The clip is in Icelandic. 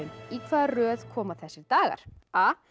í hvaða röð koma þessir dagar a